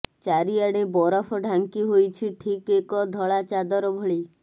ଚାରିଆଡ଼େ ବରଫ ଢାଙ୍କି ହୋଇଛି ଠିକ୍ ଏକ ଧଳା ଚାଦର ଭଳି